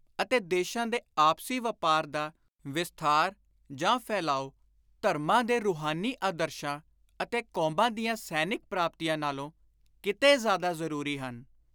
ਅਤੇ ਦੇਸ਼ਾਂ ਦੇ ਆਪਸੀ ਵਾਪਾਰ ਦਾ ‘ਵਿਸਥਾਰ ਜਾਂ ਫੈਲਾਉ’ ਧਰਮਾਂ ਦੇ ਰੁਹਾਨੀ ਆਦਰਸ਼ਾਂ ਅਤੇ ਕੌਮਾਂ ਦੀਆਂ ਸੈਨਿਕ ਪ੍ਰਾਪਤੀਆਂ ਨਾਲੋਂ ਕਿਤੇ ਜ਼ਿਆਦਾ ਜ਼ਰੂਰੀ ਹਨ।